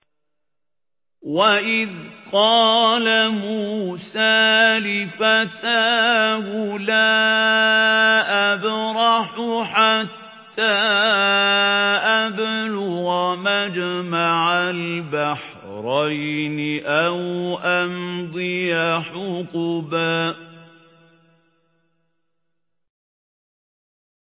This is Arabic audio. وَإِذْ قَالَ مُوسَىٰ لِفَتَاهُ لَا أَبْرَحُ حَتَّىٰ أَبْلُغَ مَجْمَعَ الْبَحْرَيْنِ أَوْ أَمْضِيَ حُقُبًا